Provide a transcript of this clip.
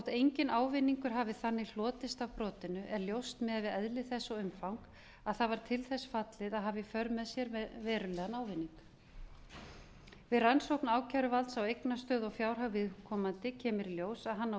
enginn ávinningur hafi þannig hlotist af brotinu er ljóst miðað við eðli þess og umfang að það var til þess fallið að hafa í för með sér verulegan ávinning við rannsókn ákæruvalds á eignastöðu og fjárhag viðkomandi kemur í ljós að hann á